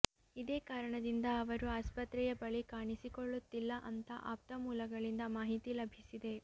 ಇದೇ ಕಾರಣದಿಂದ ಅವರು ಆಸ್ಪತ್ರೆಯ ಬಳಿ ಕಾಣಿಸಿಕೊಳ್ಳುತ್ತಿಲ್ಲ ಅಂತ ಆಪ್ತ ಮೂಲಗಳಿಂದ ಮಾಹಿತಿ ಲಭಿಸಿದೆ